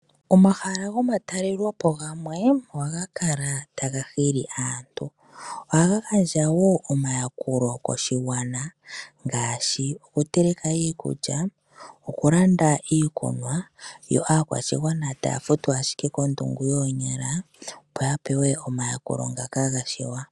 Omahala gomatalelepo gamwe ohaga kala taga hili aantu. Oha gagandja wo omayakulo koshigwana ngaashi okuteleka iikulya, okulanda iikunwa, yo aakwashigwana taya futu ashike kondu yoonyala opo yapewe omayakulo ngaka gashiwa.